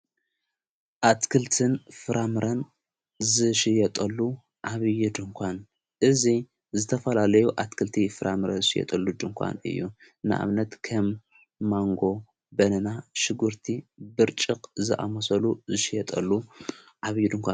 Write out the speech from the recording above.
ኣትክልትን ፍራምረን ዝሽየጠሉ ኣብዪ ድንኳን እዙይ ዝተፈላለዩ ኣትክልቲ ፍራምረ ዝሽየጠሉ ድንኳን እዩ ንኣምነት ከም መንጎ በነና ሽጕርቲ ብርጭቕ ዝኣመሰሉ ዝሽየጠሉ ዓብዪ ድኳን እዩ ።